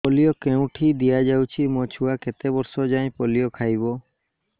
polio କେଉଁଠି ଦିଆଯାଉଛି ମୋ ଛୁଆ କେତେ ବର୍ଷ ଯାଏଁ ପୋଲିଓ ଖାଇବ